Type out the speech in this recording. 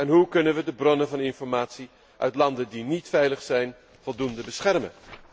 En hoe kunnen we de bronnen van informatie uit landen die niet veilig zijn, voldoende beschermen?